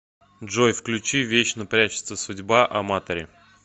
джой включи вечно прячется судьба аматори